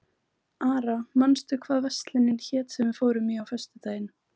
Ara, manstu hvað verslunin hét sem við fórum í á föstudaginn?